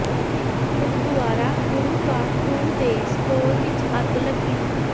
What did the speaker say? ਗੁਰਦੁਆਰਾ ਗੁਰੂ ਕਾ ਖੂਹ ਦੇ ਸਟੋਰ ਵਿਚ ਅੱਗ ਲੱਗੀ